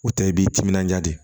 O tɛ i b'i timinanja de